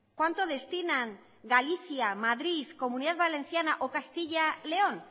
cuánto destinan galicia madrid comunidad valenciana o castilla león